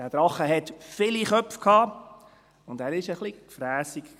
Dieser Drache hatte viele Köpfe und war ein bisschen gefrässig.